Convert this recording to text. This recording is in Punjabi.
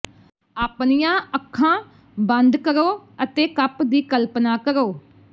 ਆਪਣੀਆਂ ਅੱਖਾਂ ਬੰਦ ਕਰੋ ਅਤੇ ਕੱਪ ਦੀ ਕਲਪਨਾ ਕਰੋ